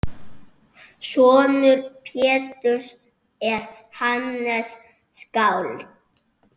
Sonur Péturs er Hannes skáld.